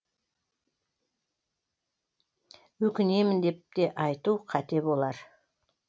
өкінемін деп те айту қате болар